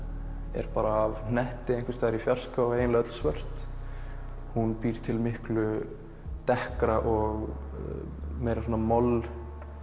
er bara af hnetti einhvers staðar í fjarska og eiginlega öll svört hún býr til miklu og meira moll